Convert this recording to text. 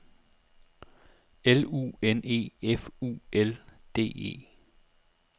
L U N E F U L D E